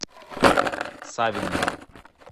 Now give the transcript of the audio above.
савинове